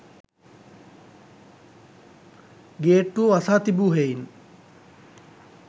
ගේට්ටුව වසා තිබූ හෙයින්